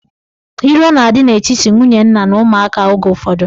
Iro na-adị n'etiti nwunye nna na ụmụaka oge ụfọdụ.